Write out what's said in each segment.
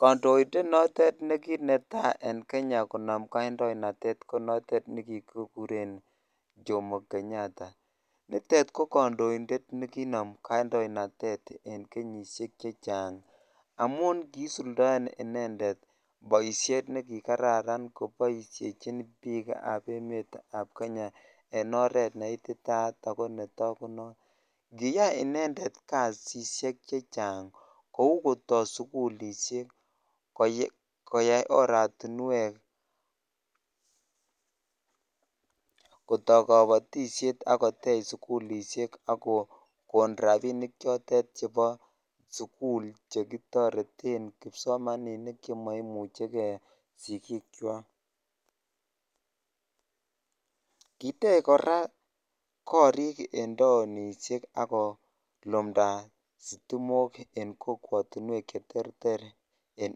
Kondoindet notet nekinetai en Kenya konam kandonaite ko notet nekikikuren Jomo Kenyatta nitet ko kondoindet nekinomu kandoinatet en kenyishek chechang amun kisuldoen inendet boishet neki kararan koboishechin bikab emetab Kenya en oret meititayat ako netokunot . Kiyai inendet kasishek chechang kou kotoo sukulishek , koyai oratumwek, Kotoo kobotishet ak kotech sukulishek akokoin rabishek chotet chebo sukul chekitoreten kipsomaninik chemoimuchigee sikik kwak. Kiyach Koraa korik en townishek akolumda sitimok en kokwotunwek cheterter en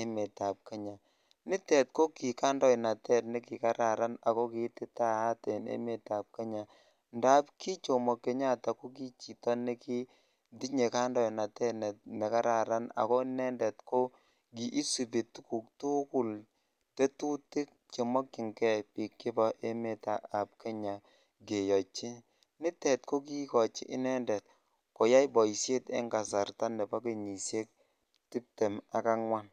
emetab Kenya. Nitet ko ki kandoinatet nekikararan ako kiititayat en emetab Kenya, ndap ki Jomo Kenyatta ko ki chito nekitinye kandoinatet nekararan ako inendet ko kisibi tukuk tukul , tetutik chemokinigee bik chebo emetab keyochi, nitet ko kikochi inendet koyai boishet en kasarta nebo kenyishek tiptem ak angwan.